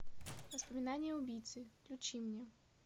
воспоминания убийцы включи мне